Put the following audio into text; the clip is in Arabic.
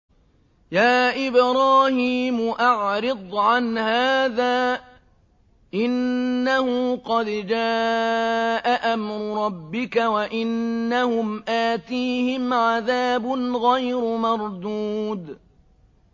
يَا إِبْرَاهِيمُ أَعْرِضْ عَنْ هَٰذَا ۖ إِنَّهُ قَدْ جَاءَ أَمْرُ رَبِّكَ ۖ وَإِنَّهُمْ آتِيهِمْ عَذَابٌ غَيْرُ مَرْدُودٍ